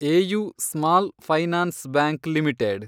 AU small finance bank limited